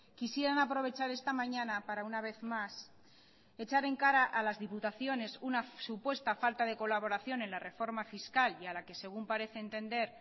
quisieran aprovechar esta mañana para una vez más echar en cara a las diputaciones una supuesta falta de colaboración en la reforma fiscal y a la que según parece entender